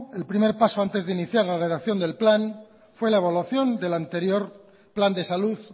el primer paso antes de iniciar la redacción del plan fue la evaluación del anterior plan de salud